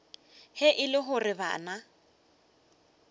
ge e le gore bana